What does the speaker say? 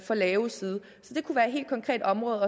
for lave side så det kunne være et helt konkret område